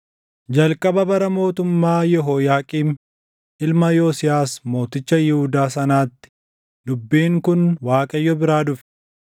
Jalqaba bara mootummaa Yehooyaaqiim ilma Yosiyaas mooticha Yihuudaa sanaatti dubbiin kun Waaqayyo biraa dhufe: